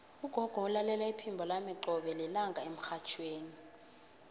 ugogo ulalela iphimbo lami qobe lilanga emrhatjhweni